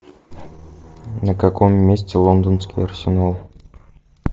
на каком месте лондонский арсенал